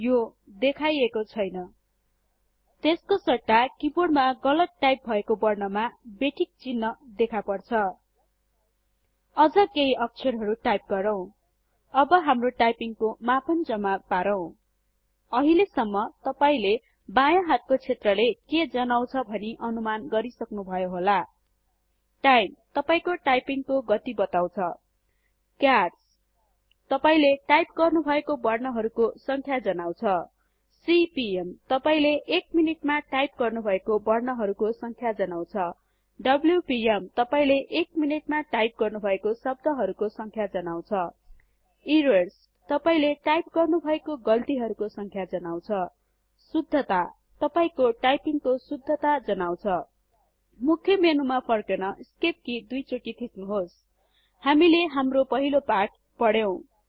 यो देखाईएको छैन त्यसको सट्टा किबोर्डमा गलत टाइप भएको वर्णमा बेठिक चिन्ह देखापर्छ अझ केहि अक्षरहरु टाइप गरौँ अब हाम्रो टाइपिंग को मापन जम्मा पारौं अहिलेसम्म तपाईले बायाँ हातको क्षेत्रले के जनाउछ भनि अनुमान गरिसक्नुभयो होला टाईम - तपाईको टाइपिंग को गति बताउछ क्यार्स - तपाईले टाइप गर्नुभएको वर्ण हरुको संख्या जनाउछ सिपिएम- तपाइले एक मिनटमा टाइप गर्नुभएको वर्णहरुको संख्या जनाउछ डब्ल्युपिएम - तपाइले एक मिनटमा टाइप गर्नुभएको शब्दहरुको संख्या जनाउछ ईरर्स - तपाईले टाइप गर्नुभएको गल्तीहरुको संख्या जनाउछ शुद्धता - तपाईको टाइपिंगको शुद्धता जनाउछ मुख्य मेनुमा फर्कन ईस्केप कि दुई चोटि थिच्नुहोस् हामीले हाम्रो पहिलो पाठ पढ्यौं